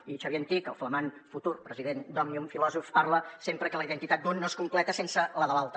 i xavier antich el flamant futur president d’òmnium filòsof parla sempre que la identitat d’un no es completa sense la de l’altre